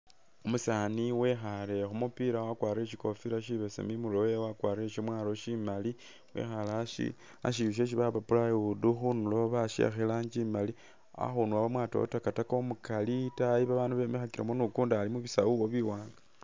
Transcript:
Umusaani wekhale khumupila wakwarire shikofila shibesemu imurwe wewe ,wakwarire shemwalo shimali ,wekhale ashi ashindu shesi bapa plywood, khundulo bashiyakha iranji imali ,akhundu awo bamwatawo takataka umukali ,itaayi babandu bemikhakilekho ni ukundi ali mu bisawu awo biwanga